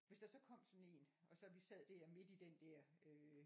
Hvis der så kom sådan en og så vi sad der midt i den der øh